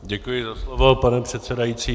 Děkuji za slovo, pane předsedající.